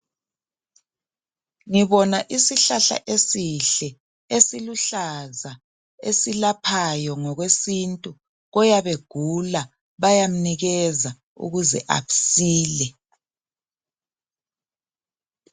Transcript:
Ngibona isihlahla esihle esiluhlaza. Esilaphayo ngokwesintu. Oyabe egula, bayamnikeza ukuze asile.